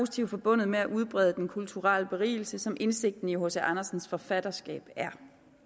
ting forbundet med at udbrede den kulturelle berigelse som indsigten i hc andersens forfatterskab er